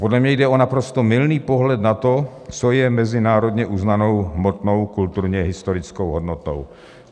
Podle mě jde o naprosto mylný pohled na to, co je mezinárodně uznanou hmotnou kulturně-historickou hodnotou.